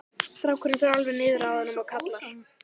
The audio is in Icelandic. Strákurinn fer alveg niður að honum og kallar